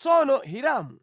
Tsono Hiramu